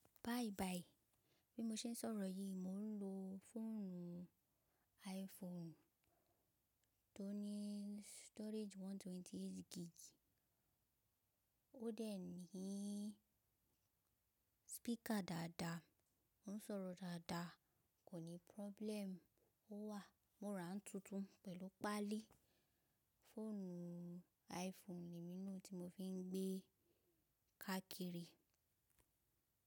Bayi bayi, bí mo ṣe ń sọ̀rọ̀ yìí, mò ń lo fóònù iPhone tó ní storage 128 gig. Ó de ní speaker dáadáa, ó ń sọ̀rọ̀ dáadáa, kò ní problem. Ó wà, mo rà án tuntun pẹ̀lú páálí. Fóònù iPhone ni mí n lo tí mo fi ń gbé káàkiri.